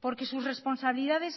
porque sus responsabilidades